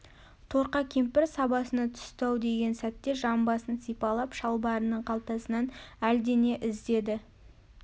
торқа кемпір сабасына түсті-ау деген сәтте жамбасын сипалап шалбарының қалтасынан әлдене іздеді